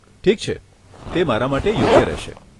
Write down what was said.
ઠીક છે, તે મારા માટે યોગ્ય રહેશે.